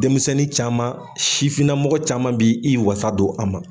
Denmisɛnnin caman sifinna mɔgɔ caman b'i i wasadon a ma.